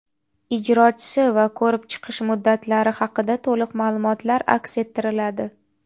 ijrochisi va ko‘rib chiqish muddatlari haqida to‘liq maʼlumotlar aks ettiriladi.